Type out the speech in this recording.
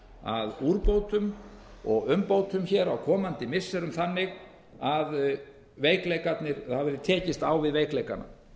að úrbótum og umbótum hér á komandi missirum þannig að veikleikarnir það verði tekist á um veikleikana það